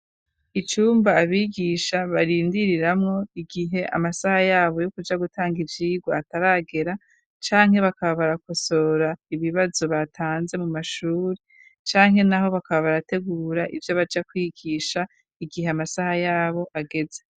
icumba abigisha barindiriramwo igihe amasaha yabo yo kuja gutanga icigwa ataragera , canke bakaba barakosora ibibazo batanze mu mashuri , canke naho bakaba barategura ivyo baja kwigisha igihe amasaha yabo ageze.